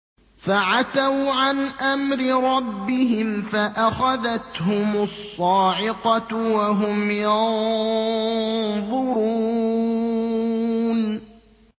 فَعَتَوْا عَنْ أَمْرِ رَبِّهِمْ فَأَخَذَتْهُمُ الصَّاعِقَةُ وَهُمْ يَنظُرُونَ